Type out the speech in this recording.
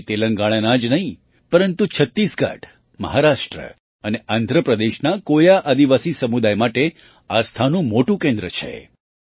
તે તેલંગાણા જ નહીં પરંતુ છત્તીસગઢ મહારાષ્ટ્ર અને આંધ્ર પ્રદેશના કોયા આદિવાસી સમુદાય માટે આસ્થાનું મોટું કેન્દ્ર છે